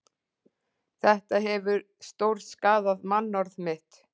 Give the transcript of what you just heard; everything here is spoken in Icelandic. Þetta hefur stórskaðað mannorð mitt